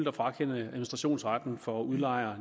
at frakende administrationsretten for udlejere